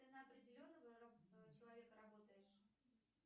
ты на определенного человека работаешь